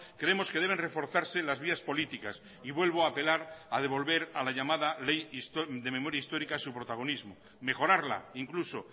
creemos que deben reforzarse las vías políticas y vuelvo a apelar a devolver a la llamada ley de memoria histórica su protagonismo mejorarla incluso